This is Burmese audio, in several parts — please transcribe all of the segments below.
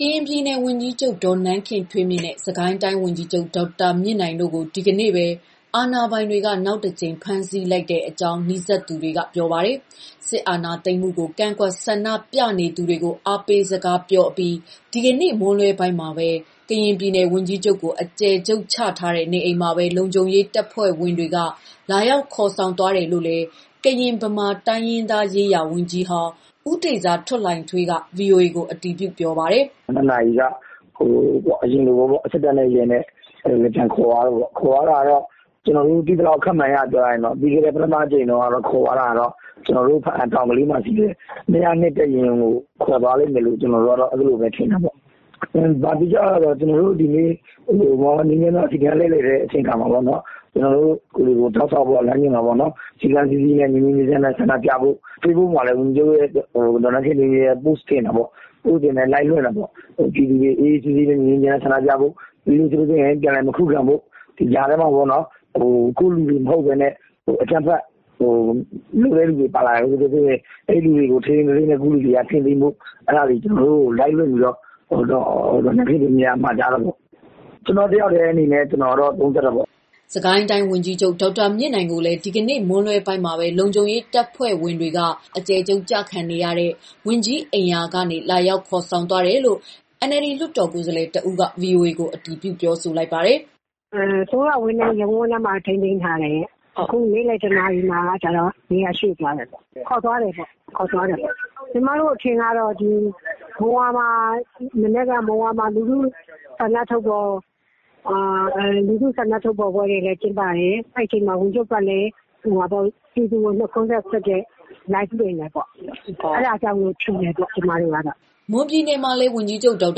ကရင်ပြည်နယ် ဝန်ကြီးချုပ် ဒေါ်နန်းခင်ထွေးမြင့်နဲ့ စစ်ကိုင်းတိုင်း ဝန်ကြီးချုပ်ဒေါက်တာမြင့်နိုင်တို့ကို ဒီနေ့ပဲ အာဏာပိုင်တွေက နောက်တကြိမ် ဖမ်းဆီးလိုက်တဲ့အကြောင်း နီးစပ်သူတွေက ပြောပါတယ်။ စစ်အာဏာသိမ်းမှုကို ကန့်ကွက်ဆန္ဒပြနေသူတွေကို အားပေးစကားပြောအပြီး ဒီကနေ့ မွန်းလွဲပိုင်းမှာပဲ ကရင်ပြည်နယ် ဝန်ကြီးချုပ်ကို အကျယ်ချုပ်ထားတဲ့ နေအိမ်မှာပဲ လုံခြုံရေးတပ်ဖွဲ့တွေက လာရောက်ခေါ်ဆောင် သွားတာလို့လည်း ကရင်၊ ဗမာတိုင်းရင်းသားရေးရာ ဝန်ကြီးဟောင်း ဦးတေဇာထွဋ်လှိုင်ထွေးက ဗွီအိုအေကို အတည်ပြုပါတယ်။ “နေ့လယ် ၂ နာရီလောက်က အရင်လိုပဲ စစ်တပ်နဲ့ ရဲနဲ့ ပြန်ခေါ်သွားတယ်။ ပြီးခဲ့တဲ့တခေါက်က ခေါ်တဲ့ ဘားအံတောင်ကလေးက ၂၀၂ တပ်ရင်းကို ခေါ်သွားလိမ့်မယ်လို့ထင်တယ်။ ကျနော်တို့ ဒီနေ့စီတန်းလှည့်လည်ချိန်မှာ ဝန်ကြီးချုပ်က စည်းကမ်းရှိရှိနဲ့ဆန္ဒပြဖို့ ဝန်ကြီးချုပ်ကိုယ်တိုင်လည်း Live လွှင့်တယ်။ ပြည်သူတွေ ငြိမ်းငြိမ်းချမ်းချမ်းဆန္ဒပြဖို့၊ အကြမ်းမဖက်ဖို့၊ ဒီကြားထဲမှာ ကိုယ့်လူတွေ မဟုတ်ဘဲနဲ့ အကြမ်းဖက်... မလိုတဲ့လူတွေ ပါလာနိုင်တယ်။ ဒါတွေကိုလည်း သေချာကိုယ့်လူတွေ ထိန်းကြဖို့၊ ဘာလုပ်ဖို့ဆိုတာတွေကို ကျနော်တို့ကို Live လွှင့်ပြီးတော့ မှာကြားတာပေါ့။ ကျနော့်တယောက်ထဲအနေနဲ့ ကျနော်ကတော့ သုံးသပ်တာပေါ့။” စစ်ကိုင်းတိုင်းဝန်ကြီးချုပ် ဒေါက်တာမြင့်နိုင်ကိုလည်း ဒီကနေ့မွန်းလွဲပိုင်းမှာပဲ လုံခြုံရေးတပ်ဖွဲ့ဝင်တွေ က အကျယ်ချုပ်ကျခံနေရတဲ့ ဝန်ကြီးအိမ်ယာကနေ လုံခြုံရေးတပ်ဖွဲ့ဝင်တွေက လာရောက်ခေါ် ဆောင်သွားတယ်လို့ NLD လွှတ်တော်ကိုယ်စားလှယ် တဦးက ဗွီအိုအေကိုအတည်ပြုပါတယ်။ "အစိုးရဝန်ထမ်းအဝန်းထဲမှာ ထိန်းသိမ်းထားတယ်။ အခု နေ့လယ် ၁ နာရီမှာတော့ နေရာ ရွှေ့သွားတယ်ပေါ့၊ ခေါ်သွားတယ်ပေါ့။ ကျမတို့အထင်ကတော့ မုံရွာမှာ မနက်က လူထုဆန္ဒထုတ်ဖော်ပွဲတွေ ကျင်းပတယ်။ အဲချိန်မှာ ဝန်ကြီးချုပ်ကလည်း ကြိုဆိုနှုတ်ခွန်းဆက်တဲ့ Live လွှင့်တယ်ပေါ့... အဲဒါကြောင့်မို့ ထင်တယ်ပေါ့... ကျမတို့ကတော့။" မွန်ပြည်နယ်မှာလည်း ဝန်ကြီးချုပ် ဒေါက်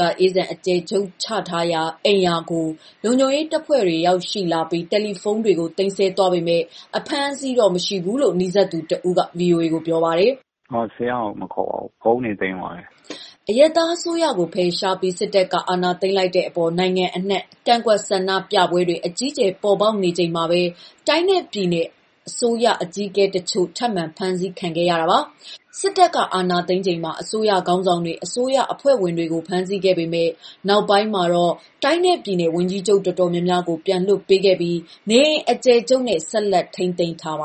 တာအေးဇံ အကျယ်ချုပ်ထားရာ အိမ်ယာကို လုံခြုံရေးတပ်ဖွဲ့တွေ ရောက်ရှိလာပြီး တယ်လီဖုန်းတွေကို သိမ်းဆည်းသွားပေမဲ့ အဖမ်းအဆီးတော့ မရှိဘူးလို့လည်း နီးစပ်သူတဦး က ဗွီအိုအေကိုပြောပါတယ်။ "ဆရာ့ကို မခေါ်ပါဘူး။ ဖုန်းတွေသိမ်းသွားတယ်။" အရပ်သားအစိုးရကို ဖယ်ရှားပြီး စစ်တပ်က အာဏာသိမ်းလိုက်တဲ့အပေါ် နိုင်ငံအနှံ့ ကန့်ကွက်ဆန္ဒပြပွဲတွေ အကြီးအကျယ် ပေါ်ပေါက်နေချိန်မှာပဲ တိုင်းနဲ့ပြည်နယ် အစိုးရအကြီးအကဲ တချို့ထပ်မံဖမ်းဆီးခံခဲ့ရတာပါ။ စစ်တပ်က အာဏာသိမ်းချိန်မှာ အစိုးရခေါင်းဆောင်တွေ၊ အစိုးရအဖွဲ့ဝင်တွေကို စစ်တပ်က ဖမ်းဆီးခဲ့ပေမဲ့ နောက်ပိုင်းမှာတော့ တိုင်းနဲ့ပြည်နယ် ဝန်ကြီးချုပ် တော်တော်များများကို ပြန်လွှတ်ပေးခဲ့ပြီး နေအိမ်အကျယ်ချုပ်နဲ့ ဆက်လက် ထိန်းသိမ်းထားပါ